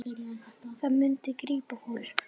Það myndi grípa fólk.